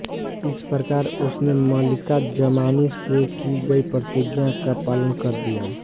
इस प्रकार उसने मलिका जमानी से की गयी प्रतिज्ञा का पालन कर दिया